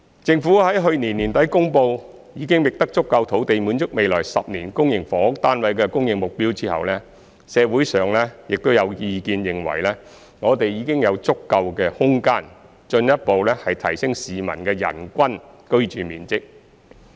政府在去年年底公布已覓得足夠土地滿足未來10年公營房屋單位的供應目標後，社會上有意見認為我們已有足夠空間，進一步提升市民的人均居住面積。